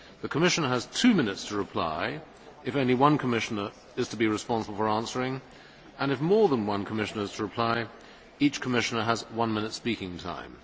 The Commissioner has two minutes to reply if only one Commissioner is to be responsible for answering, and, if more than one Commissioner is to reply, each Commissioner has one minute's speaking time.